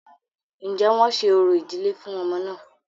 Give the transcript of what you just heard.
Ǹjẹ́ wọ́n ṣe orò ìdílé fún ọmọ náà?